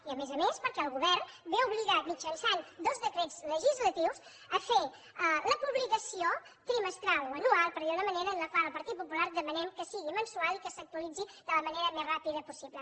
i a més a més perquè el govern ve obligat mitjançant dos decrets legislatius a fer la publicació trimestral o anual per dir ho d’alguna manera en la qual el partit popular demanem que sigui mensual i que s’actualitzi de la manera més ràpida possible